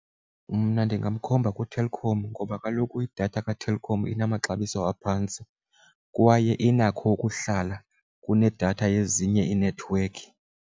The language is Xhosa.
Mna ndingamkhomba kuTelkom ngoba kaloku idatha kaTelkom inamaxabiso aphantsi kwaye inakho ukuhlala kunedatha yezinye iinethiwekhi.